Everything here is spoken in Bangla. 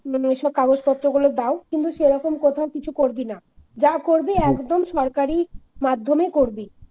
মানে এসব কাগজপত্র গুলো দাও কিন্তু সেরকম কোথাও কিছু করবি না যা করবি একদম সরকারি মাধ্যমে করবি।